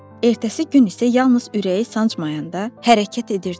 Ertəsi gün isə yalnız ürəyi sancmayanda hərəkət edirdi.